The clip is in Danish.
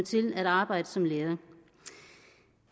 til at arbejde som lærer